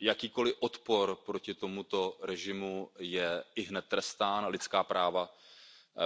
Jakýkoliv odpor proti tomuto režimu je ihned trestán, lidská práva